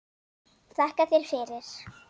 Þakka þér fyrir.